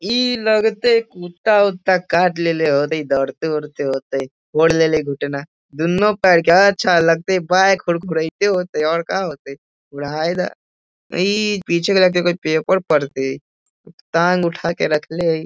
ई लगते कुत्ता उत्ता काट लेले होतइ दौड़ते उड़ते होतइ फोड़ लेले घुटना दुन्नु पैर के अच्छा लागतई बैक खुरखुरइते होतइ और का होतइ रहइ द ई पीछे के लगतै कोई पेपर पढ़तई टाँग उठा के रखले हई।